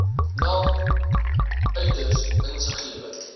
naln uiters insiggewend